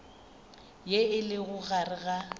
ye e lego gare ga